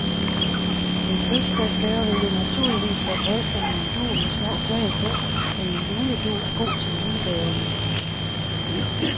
Til fødselsdagsgaver vil det naturligvis være passende med en dug med små flag på, men en juledug er god til julegaverne.